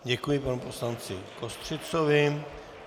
Děkuji panu poslanci Kostřicovi.